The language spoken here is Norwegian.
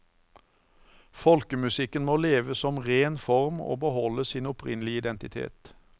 Folkemusikken må leve som ren form og beholde sin opprinnelige identitet.